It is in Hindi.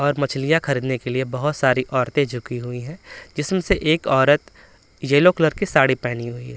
और मछलियां खरीदने के लिए बहोत सारी औरतें झुकी हुई हैं जिसमें से एक औरत येल्लो कलर की साड़ी पहनी हुई है।